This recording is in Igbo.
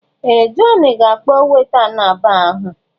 Ee! Jọn ga-akpọ weta nọ na baa ahụ.